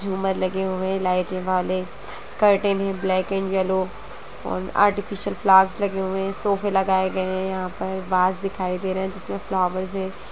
झूमर लगे हुए है लाइट वाले कर्टन है ब्लैक एंड येल्लो और आर्टिफीसियल फ्लावर्स लगे हुए है सोफे लगाए गए है यहाँ पर वास दिखाई दे रहे है जिसमे फ्लावर्स है।